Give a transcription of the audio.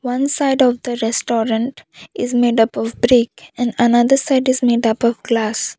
one side of the restaurant is made up of brick and another side is made up of glass.